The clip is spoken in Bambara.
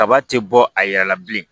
Kaba ti bɔ a yɛrɛ la bilen